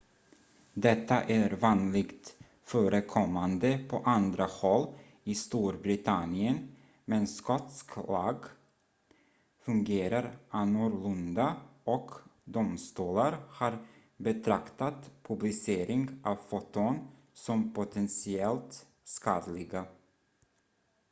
detta är vanligt förekommande på andra håll i storbritannien men skotsk lag fungerar annorlunda och domstolar har betraktat publicering av foton som potentiellt skadliga